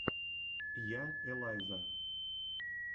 я элайза